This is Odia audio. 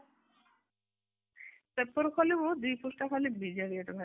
paper ଖୋଲିବୁ ଦି ପୃଷ୍ଠା ଖାଲି ବିଜେଡି ad ବାହାରିଥିବ ।